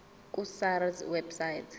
ku sars website